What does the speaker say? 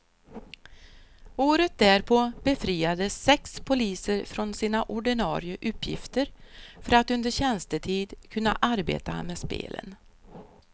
Året därpå befriades sex poliser från sina ordinare uppgifter för att under tjänstetid kunna arbeta med spelen.